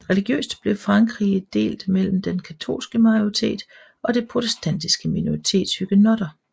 Religiøst blev Frankrige delt mellem den katolske majoritet og det protestantiske minoritet huguenotter